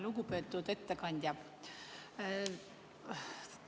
Lugupeetud ettekandja!